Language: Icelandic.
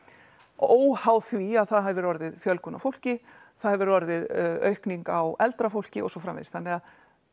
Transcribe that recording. óháð því að það hefur orðið fjölgun á fólki það hefur orðið aukning á eldra fólki og svo framvegis þannig að